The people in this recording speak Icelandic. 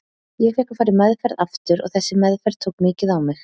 Ég fékk að fara í meðferð aftur og þessi meðferð tók mikið á mig.